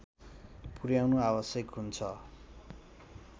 पुर्‍याउनु आवश्यक हुन्छ